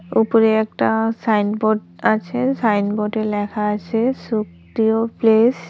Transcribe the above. উপরে একটা সাইনবোর্ড আছে সাইনবোর্ডে লেখা আছে সুখদেও প্লেস ।